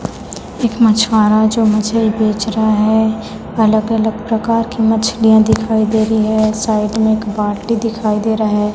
एक मछवारा है जो मछली बेच रहा है अलग अलग प्रकार की मछलियाॅं दिखाई दे रही है साईड में एक बाल्टी दिखाई दे रहा है।